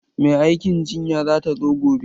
Mai aikin jinya za ta zo gobe.